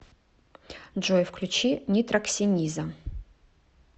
джой включи нитроксениза